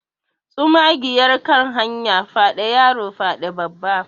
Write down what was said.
tsumagiyar kan hanya fyaɗe yaro fyaɗe Babba